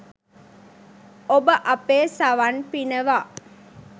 ඔබ අපේ සවන් පිනවා